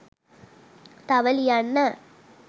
තව ලියන්න